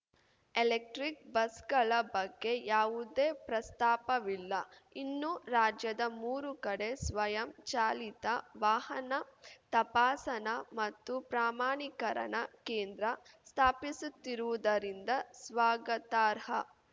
electric ಬಸ್‌ಗಳ ಬಗ್ಗೆ ಯಾವುದೇ ಪ್ರಸ್ತಾಪವಿಲ್ಲ ಇನ್ನು ರಾಜ್ಯದ ಮೂರು ಕಡೆ ಸ್ವಯಂ ಚಾಲಿತ ವಾಹನ ತಪಾಸಣಾ ಮತ್ತು ಪ್ರಮಾಣೀಕರಣ ಕೇಂದ್ರ ಸ್ಥಾಪಿಸುತ್ತಿರುವುದರಿಂದ ಸ್ವಾಗತಾರ್ಹ